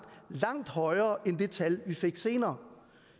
langt højere end det tal vi fik senere